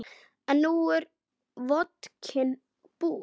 En nú er vodkinn búinn.